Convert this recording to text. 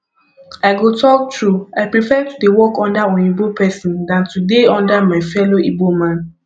i go talk true i prefer to dey work under oyinbo person dan to dey under my fellow igbo man